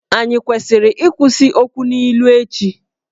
Ànyị kwesịrị ịkwụsị ikwu okwu n’ilu ​​echi?